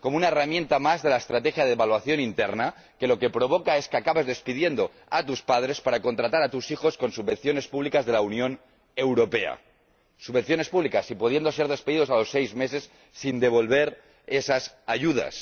Es una herramienta más de la estrategia de la evaluación interna, que lo que provoca es que acabes despidiendo a tus padres para contratar a tus hijos con subvenciones públicas de la Unión Europea, pudiendo estos últimos ser despedidos a su vez a los seis meses sin devolver esas ayudas.